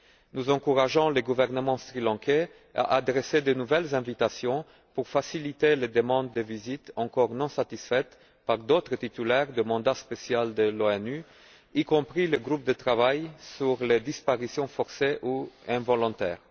Nous encourageons le gouvernement sri lankais à adresser de nouvelles invitations pour faciliter les demandes de visite encore non satisfaites par d'autres titulaires de mandat spécial de l'ONU, y compris le groupe de travail sur les disparitions forcées ou involontaires.